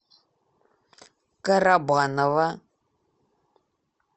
карабаново